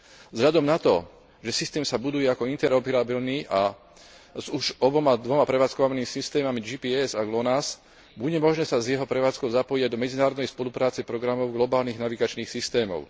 Vzhľadom na to, že systém sa buduje ako interoperabilný a už s oboma dvoma prevádzkovanými systémami GPS a Lonas, bude možné sa s jeho prevádzkou zapojiť aj do medzinárodnej spolupráce programov globálnych navigačných systémov.